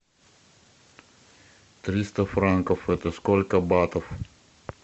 триста франков это сколько батов